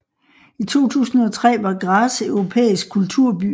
I 2003 var Graz europæisk kulturby